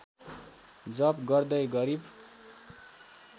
जप गर्दै गरिब